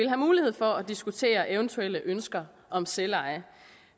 have mulighed for at diskutere eventuelle ønsker om selveje